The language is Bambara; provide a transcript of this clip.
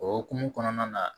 O hokumu kɔnɔna na